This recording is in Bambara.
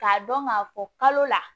K'a dɔn k'a fɔ kalo la